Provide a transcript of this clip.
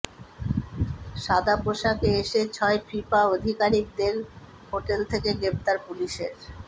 সাদা পোশাকে এসে ছয় ফিফা আধিকারকিদের হোটেল থেকে গ্রেফতার পুলিসের